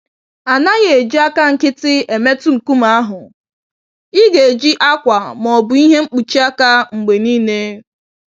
A naghị eji àkà nkịtị emetụ nkume ahụ - igeji akwa ma ọ bụ ìhè mkpuchi aka mgbe niile.